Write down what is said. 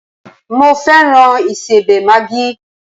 Mo fẹ́ràn ìsẹbẹ̀ Maggi